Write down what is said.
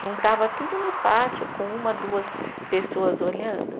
Juntava tudo no pátio com uma, duas pessoas olhando.